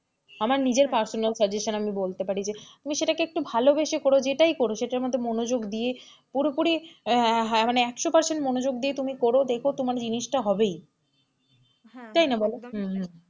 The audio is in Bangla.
আমার নিজের personal suggestion আমি তোমায় বলতে পারি তুমি সেটাকে একটু ভালোবেসে কর যেটাই কর সেটা মধ্যে একটু মনোযোগ দিয়ে পুরোপুরি, মানে একশো percent মনোযোগ দিয়ে তুমি করো, দেখো তোমার জিনিসটা হবেই তাই না বোলো,